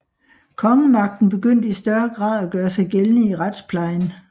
Kongemagten begyndte i større grad at gøre sig gældende i retsplejen